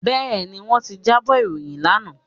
Bẹ́ẹ̀ni, wọ́n ti jábọ̀ ìròyìn lánàá